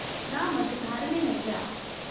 ना मझधार में नैय्या